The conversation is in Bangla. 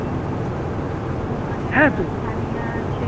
ওখানে সানিয়া আছে